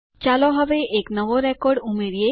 ચાલો હવે એક નવો રેકોર્ડ ઉમેરો